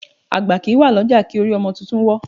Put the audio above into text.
Àgbà kì í wà lọ́jà kí orí ọmọ tuntun wọ́